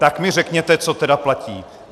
Tak mi řekněte, co teda platí.